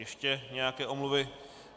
Ještě nějaké omluvy.